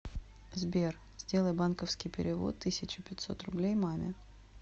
сбер сделай банковский перевод тысяча пятьсот рублей маме